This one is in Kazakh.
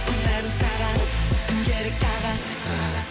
ұнайды саған уф кім керек тағы а